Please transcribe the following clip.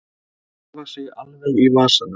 Hafa sig alveg í vasanum.